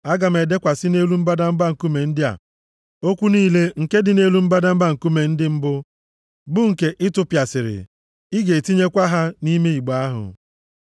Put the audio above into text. Aga m edekwasị nʼelu mbadamba nkume ndị a, okwu niile nke dị nʼelu mbadamba nkume ndị mbụ, bụ nke ị tụpịasịrị. Ị ga-etinyekwa ha nʼime igbe ahụ.”